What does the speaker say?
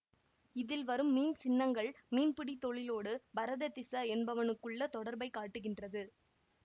இதில் வரும் மீன் சின்னங்கள் மீன்பிடி தொழிலோடு பரததிஸ என்பவனுக்குள்ள தொடர்பைக் காட்டுகின்றது